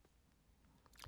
DR2